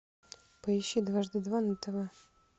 поищи дважды два на тв